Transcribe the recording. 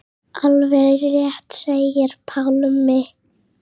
Alveg rétt segir Pálmi.